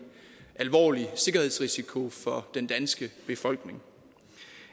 alvorlig sikkerhedsrisiko for den danske befolkning